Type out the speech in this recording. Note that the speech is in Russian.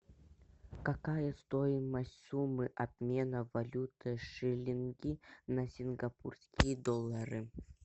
какая стоимость суммы обмена валюты шиллинги на сингапурские доллары